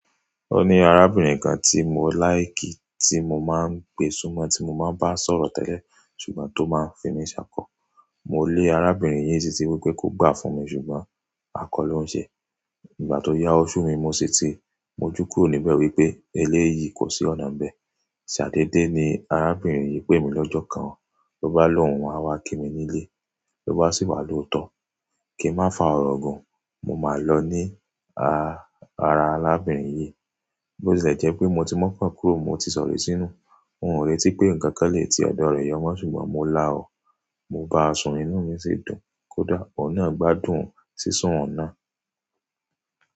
Ó ní arábìnrin kan tí mò láìkì, tí mo máa ń gbé súnmọ́, tí mo máa ń bá sọ̀rọ̀ tẹ́lẹ̀, ṣùgbọ́n tó máa ń fi mí ṣákọ. Mò lé arábìnrin yìí síti wípé kó gbà fún mi ṣùgbọ́n a kọ́ ló ń ṣe. Nígbà tó yá ọṣù mi mo sí ti, mo jù kúró níbẹ̀ wípé eléyìí kò sí ọ̀nà ń bẹ. Ṣadé dé ni arábìnrin yìí pè mí lọ́jọ́ kan, lọ bá lòun, wọ́n máa wá kí mi nílé. Lọ bá sì wá lo tọ̀. Kí ń má fa ọ̀rọ̀ gùn, mo máa lọ ní a-ara arábìnrin yìí. Bo ṣẹ jẹ́ pé mo ti mọ̀ pé kúrò mo ti sọ̀rọ̀ sínú, n ò rẹ́tí pé nǹkan kan lè ti ọ̀dọ̀ rẹ̀ yọ mó ṣùgbọ́n mo la ọ́. Mo bá ọṣù inú mi sì dùn, kódà ọ̀nà gbádùn sì sún ọ̀nà.